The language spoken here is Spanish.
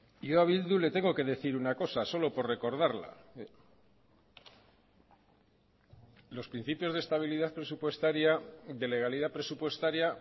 y yo a bildu le tengo que decir una cosa solo por recordarla los principios de estabilidad presupuestaria de legalidad presupuestaria